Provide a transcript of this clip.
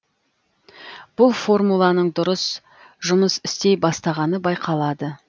бұл формуланың дұрыс жұмыс істей бастағаны байқалады